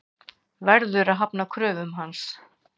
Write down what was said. Verður að hafna kröfum hans.